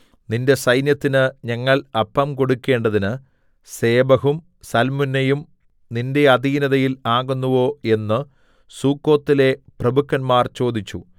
നിന്റെ സൈന്യത്തിന് ഞങ്ങൾ അപ്പം കൊടുക്കണ്ടതിന് സേബഹും സൽമുന്നയും നിന്റെ അധീനതയിൽ ആകുന്നുവോ എന്നു സുക്കോത്തിലെ പ്രഭുക്കന്മാർ ചോദിച്ചു